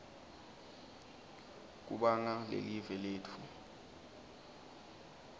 kubanga lelive letfu